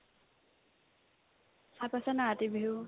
ভাত আছেনে নাই ৰাতি বিহু